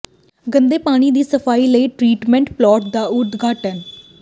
ਗੰਦੇ ਪਾਣੀ ਦੀ ਸਫ਼ਾਈ ਲਈ ਟਰੀਟਮੈਂਟ ਪਲਾਂਟ ਦਾ ਉਦਘਾਟਨ